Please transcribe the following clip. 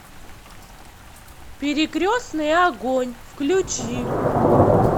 перекрестный огонь включи